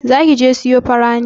Zaki je siyo fara ne?